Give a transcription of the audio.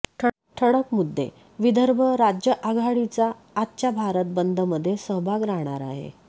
ठळक मुद्देविदर्भ राज्य आघाडीचा आजच्या भारत बंद मध्ये सहभाग राहणार आहे